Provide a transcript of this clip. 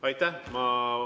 Aitäh!